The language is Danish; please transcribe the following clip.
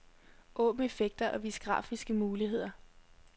Åbn effekter og vis grafiske muligheder.